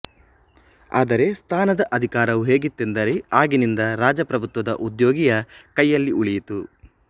ಆದರೆ ಸ್ಥಾನದ ಅಧಿಕಾರವು ಹೇಗಿತ್ತೆಂದರೆ ಆಗಿನಿಂದ ರಾಜಪ್ರಭುತ್ವದ ಉದ್ಯೋಗಿಯ ಕೈಯಲ್ಲಿ ಉಳಿಯಿತು